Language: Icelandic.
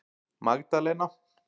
Magdalena